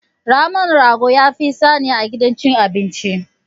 Naman rago yafi tsada a gidan cin abinci.